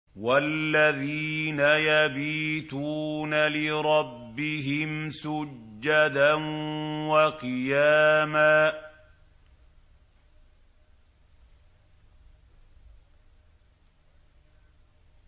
وَالَّذِينَ يَبِيتُونَ لِرَبِّهِمْ سُجَّدًا وَقِيَامًا